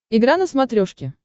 игра на смотрешке